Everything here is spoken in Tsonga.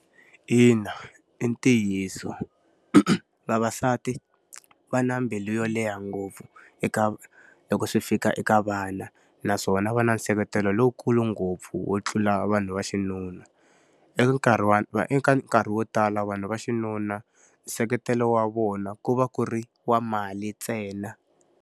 Ina i ntiyiso. Vavasati va na mbilu yo leha ngopfu eka loko swi fika eka vana, naswona va nseketelo lowu kulu ngopfu wo tlula vanhu va xinuna. Eka nkarhi wa eka nkarhi wo tala vanhu va xinuna, nseketelo wa vona ku va ku ri wa mali ntsena.